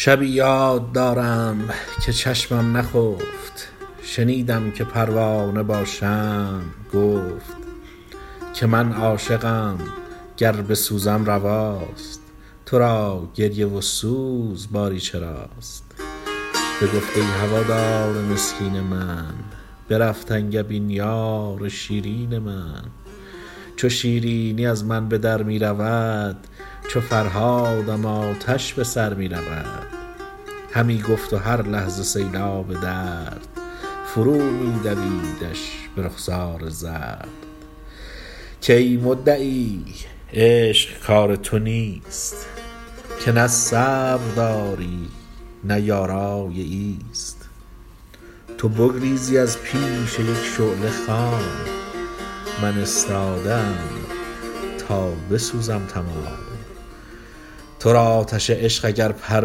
شبی یاد دارم که چشمم نخفت شنیدم که پروانه با شمع گفت که من عاشقم گر بسوزم رواست تو را گریه و سوز باری چراست بگفت ای هوادار مسکین من برفت انگبین یار شیرین من چو شیرینی از من به در می رود چو فرهادم آتش به سر می رود همی گفت و هر لحظه سیلاب درد فرو می دویدش به رخسار زرد که ای مدعی عشق کار تو نیست که نه صبر داری نه یارای ایست تو بگریزی از پیش یک شعله خام من استاده ام تا بسوزم تمام تو را آتش عشق اگر پر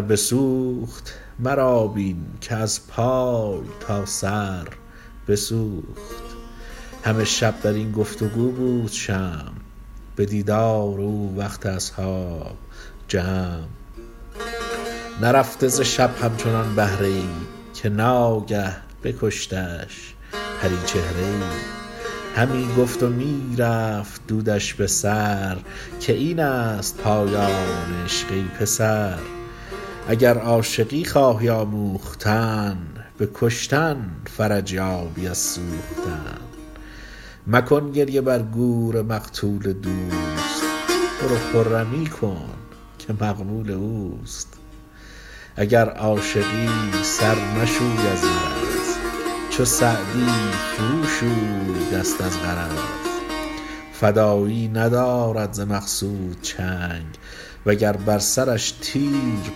بسوخت مرا بین که از پای تا سر بسوخت همه شب در این گفت و گو بود شمع به دیدار او وقت اصحاب جمع نرفته ز شب همچنان بهره ای که ناگه بکشتش پریچهره ای همی گفت و می رفت دودش به سر که این است پایان عشق ای پسر اگر عاشقی خواهی آموختن به کشتن فرج یابی از سوختن مکن گریه بر گور مقتول دوست برو خرمی کن که مقبول اوست اگر عاشقی سر مشوی از مرض چو سعدی فرو شوی دست از غرض فدایی ندارد ز مقصود چنگ و گر بر سرش تیر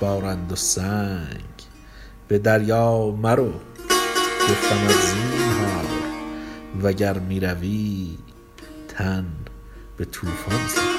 بارند و سنگ به دریا مرو گفتمت زینهار وگر می روی تن به طوفان سپار